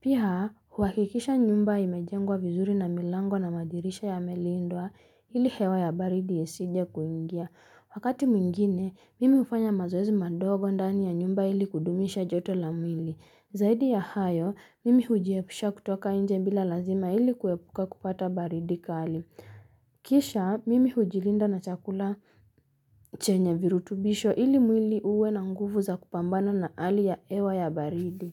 Pia, huhakikisha nyumba imejengwa vizuri na milango na madirisha yamelindwa ili hewa ya baridi isije kuingia. Wakati mwingine, mimi hufanya mazoezi madogo ndani ya nyumba ili kudumisha joto la mwili. Zaidi ya hayo, mimi hujiepisha kutoka nje bila lazima ili kuepuka kupata baridi kali. Kisha, mimi hujilinda na chakula chenye virutubisho ili mwili uwe na nguvu za kupambana na hali ya hewa ya baridi.